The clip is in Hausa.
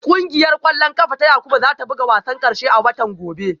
Kungiyar kwallon kafa ta Yakubu za ta buga wasan karshe a watan gobe